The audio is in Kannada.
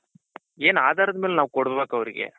ಏನ್ ಆಧಾರದ ಮೇಲೆ ನಾವ್ ಕೊಡ್ಬೇಕ್ ಅವರ್ಗೆ.